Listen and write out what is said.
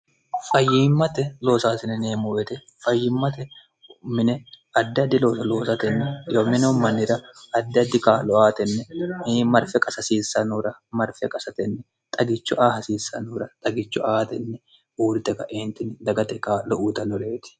fayyimmate loosaasineneemmuete fayyimmate mine addiaddi looso loosatenni ymineo mannira addiaddi kaa'lo aatenni hii marfi qasahasiissanora marfia qasatenni xagicho aa hasiissanora xagicho aatenni uurite kaeentini dagate qaa'lo uutanoreeti